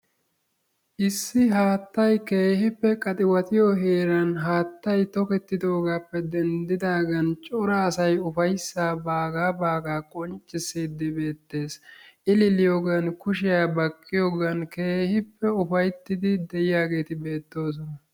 issi haattay haatay keehippe qaxuwatiyo heeran haattay toketidaagaappe denddidaaagan cora asay ufayssaa bagaa baagaa qonccisiidi beetees, illiliyogan kushiya baqqiyogan keehippe ufayttiidi de'iyaageeti beetoosona.